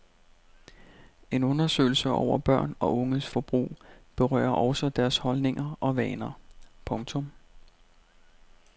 En undersøgelse over børn og unges forbrug berører også deres holdninger og vaner. punktum